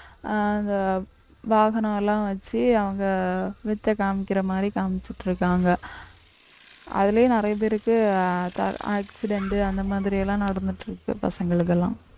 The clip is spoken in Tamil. அஹ் அந்த வாகனம் எல்லாம் வச்சு அவங்க வித்தை காமிக்கிற மாதிரி காமிச்சுட்டிருக்காங்க அதுலயும் நிறைய பேருக்கு accident அந்த மாதிரி எல்லாம் நடந்துட்டு இருக்கு பசங்களுக்கு எல்லாம்